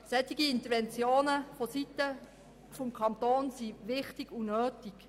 Solche Interventionen seitens des Kantons sind wichtig und notwendig.